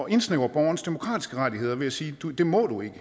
indsnævre borgernes demokratiske rettigheder ved at sige det må du ikke